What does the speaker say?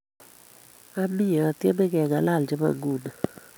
Ami atyeme kengalal chebo nguno